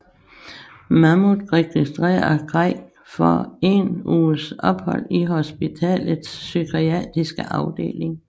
Mahmoud registrerer Craig for én uges ophold i hospitalets psykiatriske afdeling